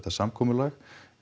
samkomulag